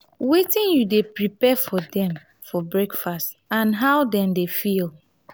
wetin you dey prepare for dem for breakfast and how dem dey feel?